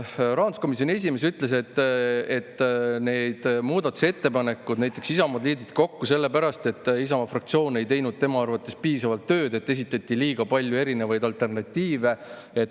Rahanduskomisjoni esimees ütles, et Isamaa muudatusettepanekud on liidetud kokku sellepärast, et tema arvates Isamaa fraktsioon ei teinud piisavalt tööd ja esitati liiga palju erinevaid alternatiive.